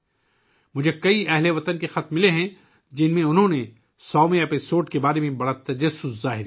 مجھے بہت سے اہل وطن کے خطوط موصول ہوئے ہیں، جن میں انہوں نے 100ویں قسط کے بارے میں بہت تجسس کا اظہار کیا ہے